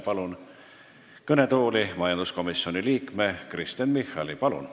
Palun kõnetooli majanduskomisjoni liikme Kristen Michali!